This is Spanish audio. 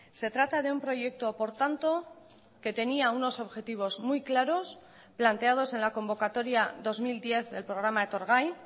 se trata de un proyecto por tanto que tenía unos objetivos muy claros planteados en la convocatoria dos mil diez del programa etorgai